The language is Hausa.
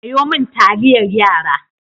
Sayo min taliyar yara.